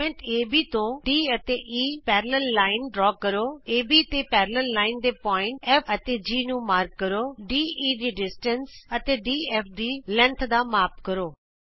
ਵ੍ਰਤ ਖੰਡ ਏਬੀ ਤੇ D ਅਤੇ E ਲੰਬਵਤ ਰੇਖਾ ਖਿੱਚੋ ਏਬੀ ਤੇ ਲੰਬਵਤ ਰੇਖਾ ਦੇ ਬਿੰਦੂ F ਅਤੇ G ਨੂੰ ਚਿੰਨ੍ਹਿਤ ਕਰੋ ਦੇ ਦੀ ਦੂਰੀ ਅਤੇ ਡੀਐਫ ਦੀ ਲੰਬਾਈ ਦਾ ਮਾਪ ਕਰੋ